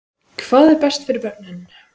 Hvað er best fyrir börnin?